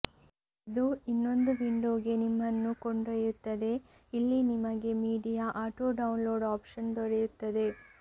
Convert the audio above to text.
ಇದು ಇನ್ನೊಂದು ವಿಂಡೊಗೆ ನಿಮ್ಮನ್ನು ಕೊಂಡೊಯ್ಯುತ್ತದೆ ಇಲ್ಲಿ ನಿಮಗೆ ಮೀಡಿಯಾ ಆಟೊ ಡೌನ್ಲೋಡ್ ಆಪ್ಶನ್ ದೊರೆಯುತ್ತದೆ